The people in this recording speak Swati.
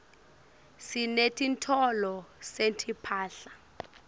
sinetitolo setimphahla